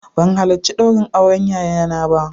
Ban halarci ɗaurin auren yayana ba